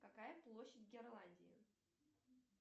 какая площадь герландии